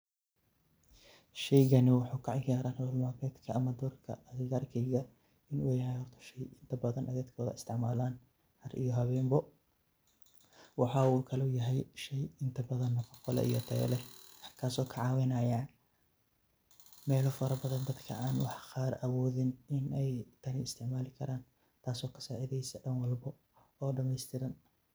Sheygani waxuu kaciyaraa noolal maalmedka ama doorka xiili gaarka xiiga in uu yahay horta sheey inta badan ey daad badan isticmaalan Har iyo habeen ba waxa uu Kalo yahay sheey inta badan faaido iyo Tayaa leh kaso kacaawinayo meelo fara badaan dadka an waxaa qaar awoodin in ey taan isticmaali Karan taaso kasacidyso dhaan walbo oo dhameystiran.